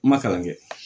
N ma kalan kɛ